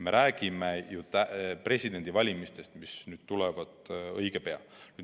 Me räägime presidendivalimistest, mis tulevad õige pea.